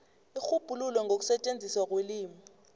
irhubhululo ngokusetjenziswa kwelimi